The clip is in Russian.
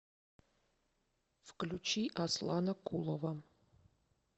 включи аслана кулова